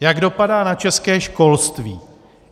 Jak dopadá na české školství?